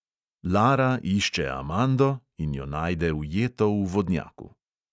Lara išče amando in jo najde ujeto v vodnjaku.